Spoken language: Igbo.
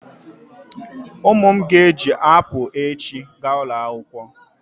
Ụmụ m ga-eji apụl echi gaa ulo akwụkwọ.